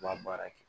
U b'a baara kɛ